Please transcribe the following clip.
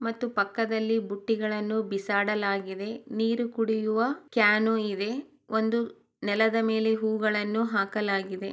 ಮತ್ತು ಪಕ್ಕದಲ್ಲಿ ಪುಟ್ಟಿಗಳನ್ನು ಬಿಸಾಡಲಾಗಿದೆ ನೀರು ಕುಡಿಯುವ ಕ್ಯಾನು ಇದೆ ಒಂದು ನೆಲದ ಮೇಲೆ ಹೂಗಳನ್ನು ಹಾಕಲಾಗಿದೆ.